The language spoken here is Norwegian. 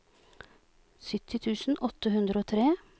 sytti tusen åtte hundre og tre